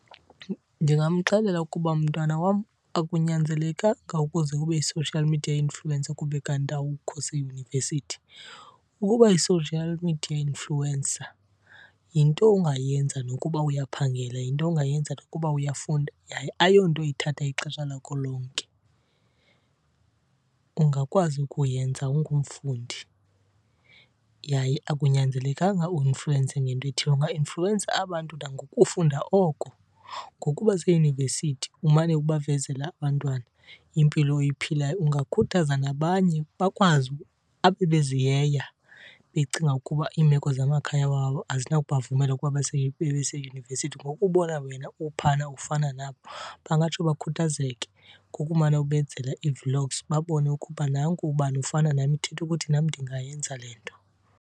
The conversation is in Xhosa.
Ndingamxelela ukuba mntwana wam akunyanzelekanga ukuze ube yi-social media influencer kube kanti awukho seyunivesithi. Ukuba yi-social media influencer yinto ongayenza nokuba uyaphangela, yinto ongayenza nokuba uyafunda, yaye ayonto ithatha ixesha lakho lonke. Ungakwazi ukuyenza ungumfundi yaye akunyanzelekanga uinfluwense ngento ethile, ungainfluwensa abantu nangokufunda oko. Ngokuba seyunivesithi umane ubavezela abantwana impilo oyiphilayo, ungakhuthaza nabanye bakwazi . Ababeziyeya becinga ukuba iimeko zamakhaya wabo azinakubavumela ukuba babe seyunivesithi, ngokubona wena uphana ufana nabo bangatsho bakhuthazeke. Ngokumane ubenzela ii-vlogs babone ukuba nanku ubani ufana nam, ithetha ukuthi nam ndingayenza le nto.